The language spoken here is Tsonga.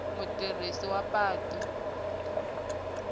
mutirhisi wa patu a nga